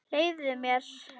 Leyfðu mér!